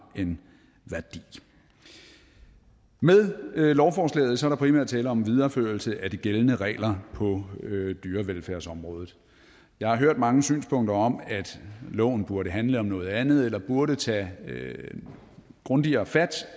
en værdi med lovforslaget er der primært tale om en videreførelse af de gældende regler på dyrevelfærdsområdet jeg har hørt mange synspunkter om at loven burde handle om noget andet eller burde tage grundigere fat